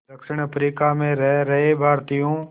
दक्षिण अफ्रीका में रह रहे भारतीयों